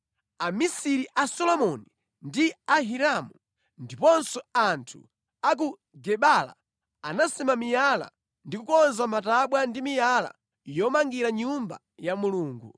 Amisiri a Solomoni ndi a Hiramu ndiponso anthu a ku Gebala anasema miyala ndi kukonza matabwa ndi miyala yomangira Nyumba ya Mulungu.